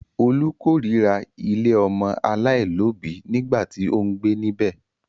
Olú kórira ilé ọmọ aláìlóòbí nígbà tí ó ń gbé níbẹ̀.